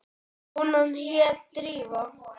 Konan hét Drífa.